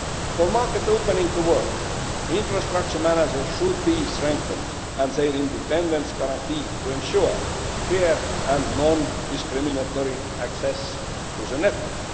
For market opening to work, infrastructure managers should be strengthened and their independence guaranteed to ensure fair and non discriminatory access to the network.